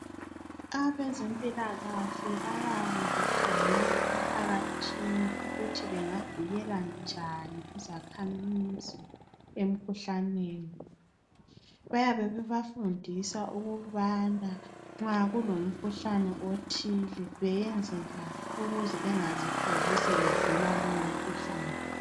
Abezempilakahle bayabe bekhangela emphakathini ukuthi kungavikela njani izakhamizi emkhuhlaneni bayabe bebafundisa ukubana nxa kulomkhuhlane othile beyenzenjani ukuze bengazitholi sebegula lowo mkhuhlane.